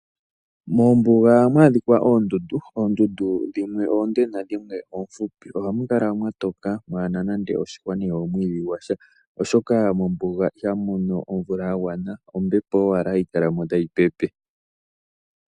Mombunga oha mwadhika ondundu, ondundu dhimwe onde nadhimwe ofupi ohamukala mwatoka mwana nande oshihwa nenge omwidhi ngwasha, oshoka mombunga ihamono omvula yangwana ombepo ashike hayikalamo tayipepe.